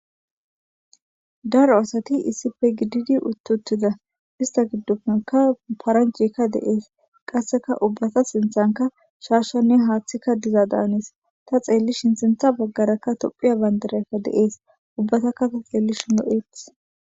Daro asati issipe gididi uti utida isita gidope qa paranijeyika de'es ubata sinthanka shashanee hathika diza danes ta xelishin sinitha bagaraka topheya banidiraka de'es ubatika lo'etes